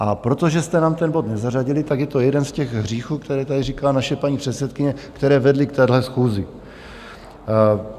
A protože jste nám ten bod nezařadili, tak je to jeden z těch hříchů, které tady říká naše paní předsedkyně, které vedly k téhle schůzi.